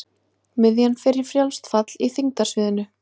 Miðjan fer í frjálst fall í þyngdarsviðinu.